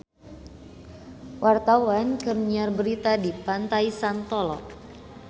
Wartawan keur nyiar berita di Pantai Santolo